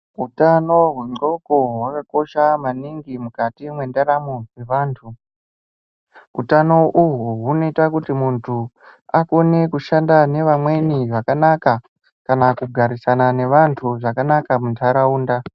Hutano hwengonxo hwakakosha maningi mukati mendaramo dzevantu utano uhu hunoita kuti muntu akone kushandisa Vamweni zvakanaka kugarisana nevantu zvakanaka mundaraunda.